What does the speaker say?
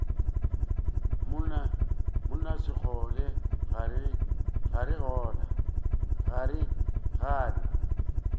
monna sekgole ga re gane